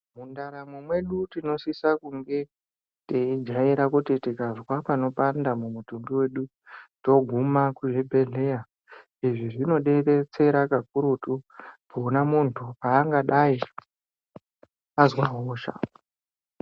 Mundaramo mwedu tinosisa kunge teijaira kuti tikazwa panopanda mumutumbi wedu toguma kuzvibhedhleya. Izvi zvinodetsera kakurutu pona muntu pangadai azwa hosha.